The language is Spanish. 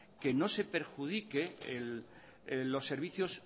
que no se perjudique los servicios